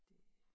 Det